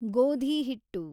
ಗೋಧಿ ಹಿಟ್ಟು